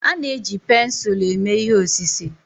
A na-eji pensụlu eme ihe osise.